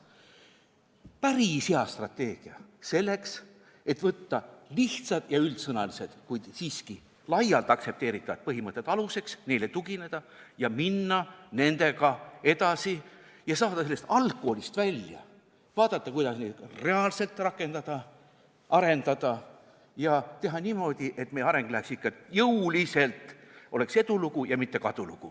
See on päris hea strateegia selleks, et võtta lihtsad ja üldsõnalised, kuid siiski laialt aktsepteeritud põhimõtted aluseks, neile tugineda ja minna nendega edasi ning saada sellest algkoolist välja, vaadata, kuidas neid reaalselt rakendada, arendada ja teha niimoodi, et meie areng oleks ikka jõuline, oleks edulugu ja mitte kadulugu.